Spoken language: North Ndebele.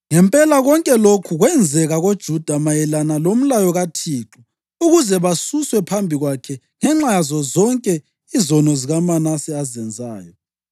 Ngempela konke lokho kwenzeka koJuda mayelana lomlayo kaThixo ukuze basuswe phambi kwakhe ngenxa yazo zonke izono zikaManase azenzayo,